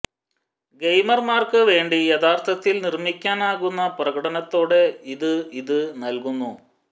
ഗെയിമർമാർക്ക് വേണ്ടി യഥാർഥത്തിൽ നിർമ്മിക്കാനാകുന്ന പ്രകടനത്തോടെ ഇത് ഇത് നൽകുന്നു